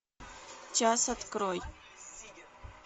час открой